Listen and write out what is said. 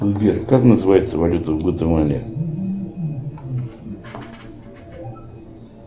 сбер как называется валюта в гватемале